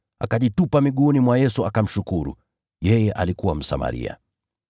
Akajitupa miguuni mwa Yesu akamshukuru. Yeye alikuwa Msamaria.